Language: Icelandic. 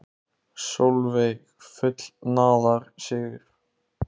Sólveig: Fullnaðarsigur?